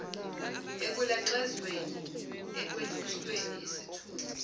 ekulaxazweni ekwehlisweni isithunzi